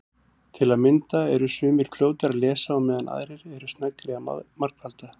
Til að mynda eru sumir fljótari að lesa á meðan aðrir eru sneggri að margfalda.